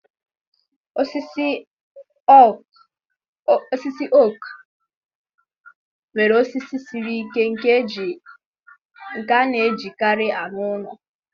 Osisi oak nwere osisi siri ike nke a na-ejikarị arụ ụlọ.